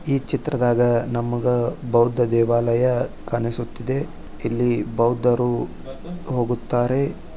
ಈ ಚಿತ್ರದಾಗ ನಮಗ ಬೌದ್ದ ದೇವಾಲಯ ಕಾಣಿಸುತ್ತಿದೆ ಇಲ್ಲಿ ಬೌದ್ದರು ಹೋಗುತ್ತಾರೆ.